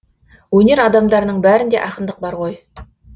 өнер адамдарының бәрінде ақындық бар ғой